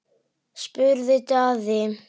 spurði Daði.